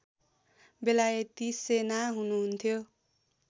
बेलायती सेना हुनुहुन्थ्यो